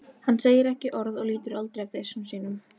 Hann segir ekki orð og lítur aldrei af diski sínum.